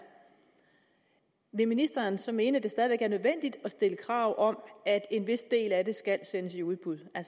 vil ministeren så mene at det stadig væk er nødvendigt at stille krav om at en vis del af det skal sendes i udbud er